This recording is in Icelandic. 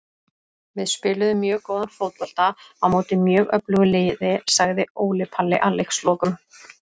Við spiluðum mjög góðan fótbolta á móti mjög öflugu liði, sagði Óli Palli að leikslokum.